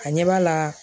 A ɲɛ b'a la